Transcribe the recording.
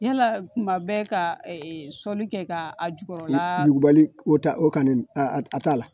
Yala kuma bɛɛ ka sɔli kɛ ka a jukɔrɔla yugubali o ta o kan a t'a la